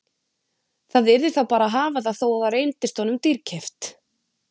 Það yrði þá bara að hafa það þó það reyndist honum dýrkeypt.